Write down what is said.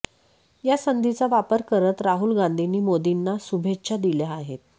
या संधीचा वापर करत राहुल गांधींनी मोदींना शुभेच्छा दिल्या आहेत